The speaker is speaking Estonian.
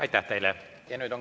Aitäh teile!